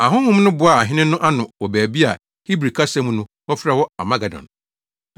Ahonhom no boaa ahene no ano wɔ baabi a Hebri kasa mu no wɔfrɛ hɔ Armagedon.